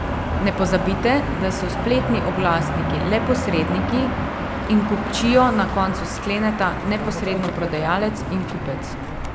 Ne pozabite, da so spletni oglasniki le posredniki in kupčijo na koncu skleneta neposredno prodajalec in kupec.